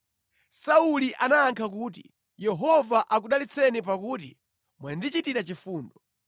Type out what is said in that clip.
Sauli anayankha kuti, “Yehova akudalitseni pakuti mwandichitira chifundo.